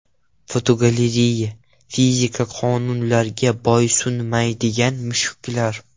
Fotogalereya: Fizika qonunlariga bo‘ysunmaydigan mushuklar.